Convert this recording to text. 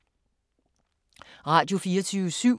Radio24syv